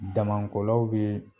Damankolaw be